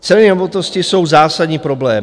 Ceny nemovitosti jsou zásadní problém.